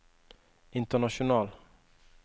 international